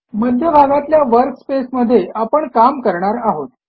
मध्यभागातल्या work space मध्ये आपण काम करणार आहोत